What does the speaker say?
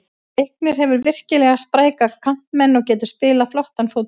Leiknir hefur virkilega spræka kantmenn og getur spilað flottan fótbolta.